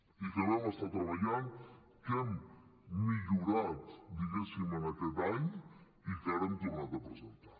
i que vam estar hi treballant que l’hem millorat diguéssim aquest any i que ara hem tornat a presentar